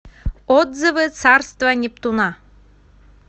отзывы царство нептуна